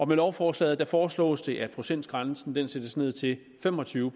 med lovforslaget foreslås det at procentgrænsen sættes ned til fem og tyve